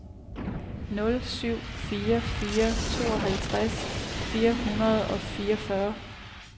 nul syv fire fire tooghalvtreds fire hundrede og fireogfyrre